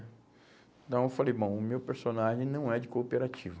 Então eu falei, bom, o meu personagem não é de cooperativa.